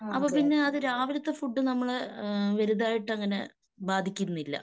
അപ്പൊ പിന്നെ അത് രാവിലത്തെ ഫുഡ് നമ്മള് ഏഹ് വലുതായിട്ടങ്ങനെ ബാധിക്കുന്നില്ല.